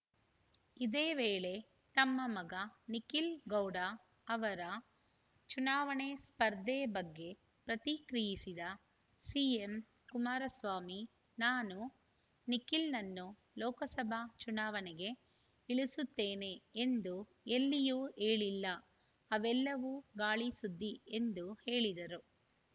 ಇದೇ ವೇಳೆ ತಮ್ಮ ಮಗ ನಿಖಿಲ್‌ ಗೌಡ ಅವರ ಚುನಾವಣೆ ಸ್ಪರ್ಧೆ ಬಗ್ಗೆ ಪ್ರತಿಕ್ರಿಯಿಸಿದ ಸಿಎಂ ಕುಮಾರಸ್ವಾಮಿ ನಾನು ನಿಖಿಲ್‌ನನ್ನು ಲೋಕಸಭಾ ಚುನಾವಣೆಗೆ ಇಳಿಸುತ್ತೇನೆ ಎಂದು ಎಲ್ಲಿಯೂ ಹೇಳಿಲ್ಲ ಅವೆಲ್ಲವೂ ಗಾಳಿಸುದ್ದಿ ಎಂದು ಹೇಳಿದರು